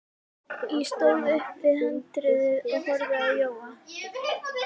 Ég stóð upp við handriðið og horfði á Jóa.